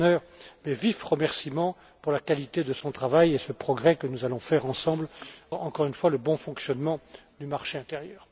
M. Lechner, mes vifs remerciements pour la qualité de son travail et ce progrès que nous allons faire ensemble encore une fois pour le bon fonctionnement du marché intérieur.